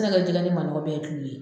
dilan ni manɔgɔ bɛɛ ye tulu ye